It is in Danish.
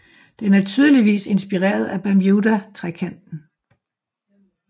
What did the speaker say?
Den er tydeligvis inspireret af Bermudatrekanten